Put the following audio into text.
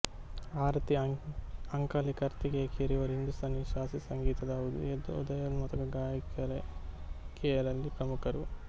ಆರತಿ ಅಂಕಲಿಕರ್ತಿಕೆಕರ್ ಇವರು ಹಿಂದೂಸ್ತಾನಿ ಶಾಸ್ತ್ರೀಯ ಸಂಗೀತದ ಉದಯೋನ್ಮುಖ ಗಾಯಿಕೆಯರಲ್ಲಿ ಪ್ರಮುಖರು